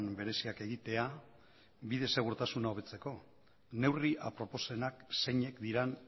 bereziak egitea bide segurtasuna hobetzeko neurri aproposenak zeinek diren